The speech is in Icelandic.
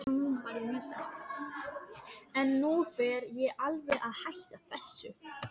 En nú fer ég alveg að hætta þessu.